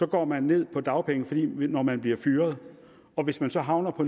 går man ned på dagpenge når man bliver fyret og hvis man så havner på